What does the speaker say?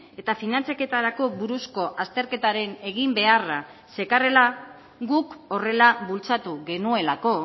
eta finantzaketarako buruzko azterketaren eginbeharra zekarrela guk horrela bultzatu genuelako